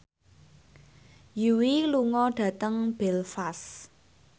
Yui lunga dhateng Belfast